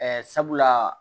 sabula